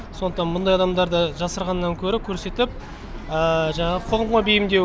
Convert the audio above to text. сондықтан мұндай адамдарды жасырғаннан гөрі көрсетіп жаңағы қоғамға бейімдеу